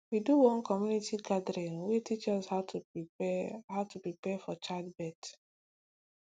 we do one community gathering wey teach us how to prepare how to prepare for childbirth